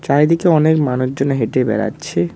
চারিদিকে অনেক মানুষজন হেঁটে বেড়াচ্ছে।